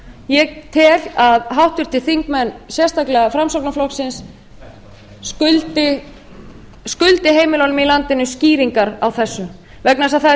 ég tel að háttvirtir þingmenn sérstaklega framsóknarflokksins skuldi heimilunum í landinu skýringar á þessu vegna þess að það er